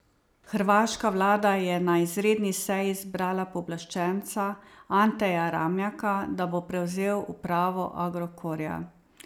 Hrvaška vlada je na izredni seji izbrala pooblaščenca, Anteja Ramljaka, da bo prevzel upravo Agrokorja.